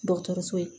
Dɔgɔtɔrɔso ye